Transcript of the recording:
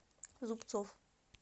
зубцов